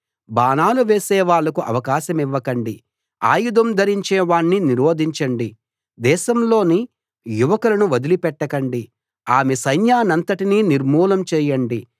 బాణాలు వేసే వాళ్ళకు అవకాశమివ్వకండి ఆయుధం ధరించే వాణ్ణి నిరోధించండి దేశంలోని యువకులను వదిలి పెట్టకండి ఆమె సైన్యాన్నంతటినీ నిర్మూలం చేయండి